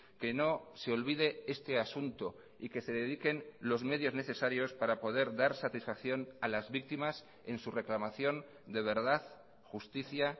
que no se olvide este asunto y que se dediquen los medios necesarios para poder dar satisfacción a las víctimas en su reclamación de verdad justicia